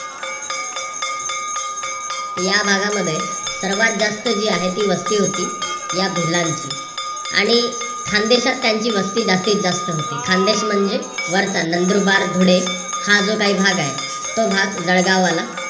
या भागांमध्ये सर्वात जास्त जी आहे ती वस्ती होती या भिल्लांची. आणि खानदेशात त्यांची वस्ती जास्तीत जास्त होती. खानदेश म्हणजे वरचा नंदुरबार, धुळे हा जो काही भाग आहे तो भाग जळगाव वाला